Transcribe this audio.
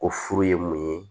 Ko furu ye mun ye